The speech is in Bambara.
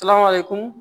kun